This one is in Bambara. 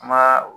Ma